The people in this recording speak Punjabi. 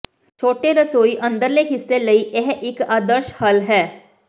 ਛੋਟੇ ਰਸੋਈ ਅੰਦਰਲੇ ਹਿੱਸੇ ਲਈ ਇਹ ਇੱਕ ਆਦਰਸ਼ ਹੱਲ ਹੈ